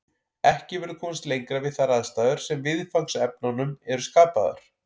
Ekki verður komist lengra við þær aðstæður sem viðfangsefnunum eru skapaðar.